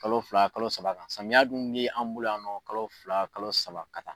Kalo fila kalo saba, samiya dun de b'an bolo yan nɔ kalo fila kalo saba ka taa